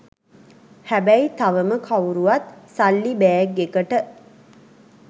හැබැයි තවම කවුරුවත් සල්ලි බෑග් එකට